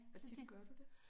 Hvor tit gør du det?